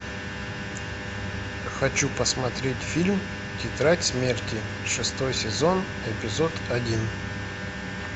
хочу посмотреть фильм тетрадь смерти шестой сезон эпизод один